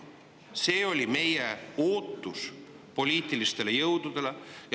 Seda me ootasime poliitilistelt jõududelt.